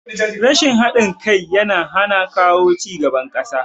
Rashin haɗin kai yana hana kawo cigaban ƙasa